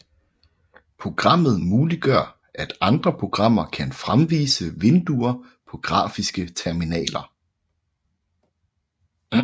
Programmet muliggør at andre programmer kan fremvise vinduer på grafiske terminaler